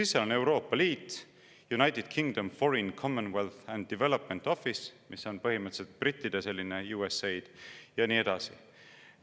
Ja siis on seal Euroopa Liit ning Foreign, Commonwealth & Development Office, mis on põhimõtteliselt brittide USAID, ja nii edasi.